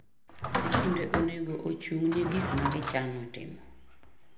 Skunde onego ochungni gikmagichano timo.